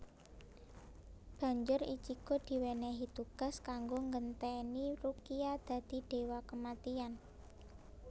Banjur Ichigo diwenehi tugas kanggo nggenteni Rukia dadi dewa kematian